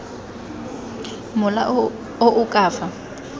mola o o ka fa